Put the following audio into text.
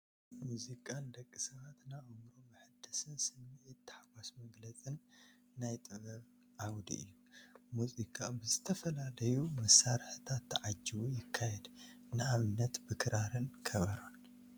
ሙዚቃ ንደቂ ሰባት ንኣእምሮ መሐደስን ስምዒት ታሕጓስ መግለፅን ናይ ጥበብ ዓውዲ እዩ፡፡ ሙዚቃ ብዝተፈላለዩ መሳርሕታት ተዓጂቡ ይካየድ፡፡ ንኣብነት ብክራርን ብኸበሮን፡፡